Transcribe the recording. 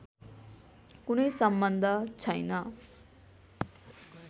कुनै सम्बन्ध छैन